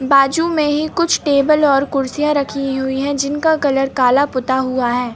बाजू में ही कुछ टेबल और कुर्सियां रखी हुई है जिनका कलर काला पुता हुआ है।